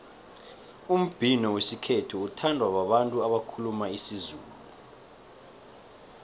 umbhino wesikhethu uthandwa babantu abakhuluma isizulu